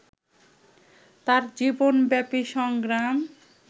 তাঁর জীবনব্যাপী সংগ্রাম